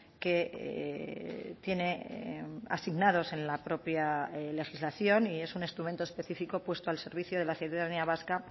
que tiene asignados en la propia legislación y es un instrumento específico puesto al servicio de la ciudadanía vasca